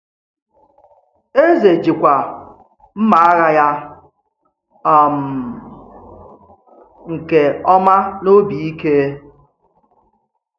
Èzè jìkwà mma àghà ya um nke ọma n’òbì íké.